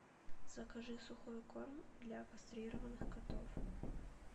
закажи сухой корм для кастрированных котов